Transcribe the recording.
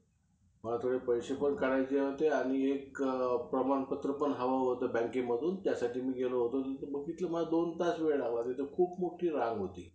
अं मग येणं-जाणं scooty होती का?